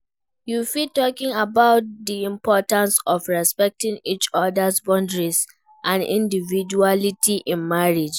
you fit talk about di importance of respecting each other's boundaries and individuality in marriage.